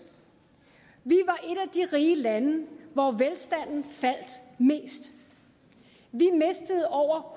vi af de rige lande hvor velstanden faldt mest vi mistede over